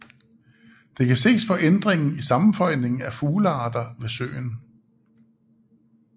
Det kan ses på ændringen i sammensætningen af fuglearter ved søen